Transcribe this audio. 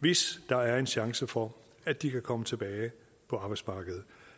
hvis der er chance for at de kan komme tilbage på arbejdsmarkedet